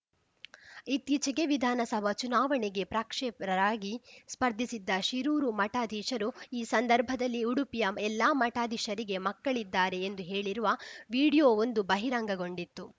ಇತ್ತೀಚೆಗೆ ವಿಧಾನಸಭಾ ಚುನಾವಣೆಗೆ ಪ್ರಕ್ಷೇಪರರಾಗಿ ಸ್ಪರ್ಧಿಸಿದ್ದ ಶಿರೂರು ಮಠಾಧೀಶರು ಈ ಸಂದರ್ಭದಲ್ಲಿ ಉಡುಪಿಯ ಎಲ್ಲಾ ಮಠಾಧೀಶರಿಗೆ ಮಕ್ಕಳಿದ್ದಾರೆ ಎಂದು ಹೇಳಿರುವ ವಿಡಿಯೋವೊಂದು ಬಹಿರಂಗಗೊಂಡಿತ್ತು